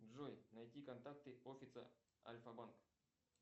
джой найди контакты офиса альфа банка